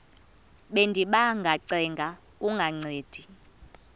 bendiba ngacenga kungancedi